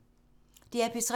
DR P3